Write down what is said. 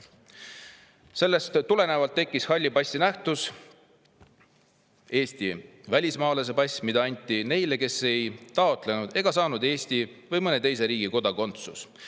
Sellest tulenevalt tekkis halli passi nähtus, Eesti välismaalase pass, mida anti neile, kes ei taotlenud ega saanud Eesti või mõne teise riigi kodakondsust.